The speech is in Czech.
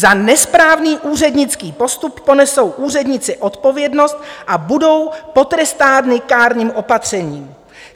Za nesprávný úřednický postup ponesou úředníci odpovědnost a budou potrestáni kárným opatřením.